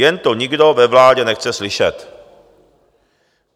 Jen to nikdo ve vládě nechce slyšet.